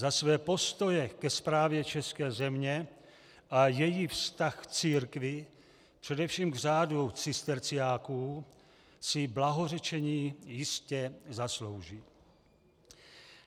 Za své postoje ke správě české země a svůj vztah k církvi, především k řádu cisterciáků, si blahořečení jistě zaslouží..."